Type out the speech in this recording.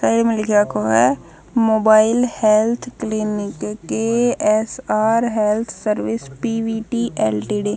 क ए म लिख राख्यो ह mobile health clinic K S R health service P V T L T D.